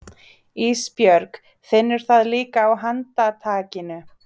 Ísbjörg finnur það líka á handtakinu.